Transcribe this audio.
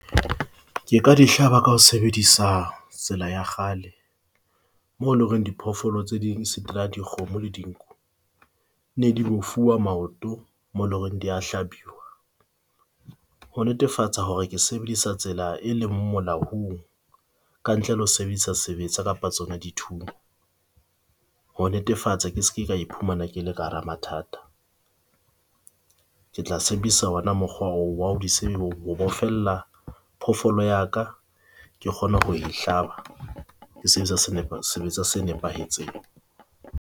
Ke ka dihlaba ka ho sebedisa tsela ya kgale, mo leng hore diphoofolo tse ding se dikgomo le dinku ne di bofuwa maoto moo leng hore di a hlabiwu. Ho netefatsa hore ke sebedisa tsela e leng molaong kantle le ho sebedisa sebetsa kapa tsona dithunya. Ho netefatsa ke ske ka iphumana ke le ka hara mathata. Ke tla sebedisa hona mokgowa oo wa ho di ho bofella phofoolo ya ka. Ke kgona ho e hlaba. Ke sebedisa sebetsa se nepahetseng.